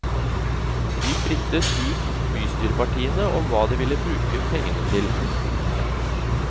Vi frittet ut bystyrepartiene om hva de vil bruke pengene til.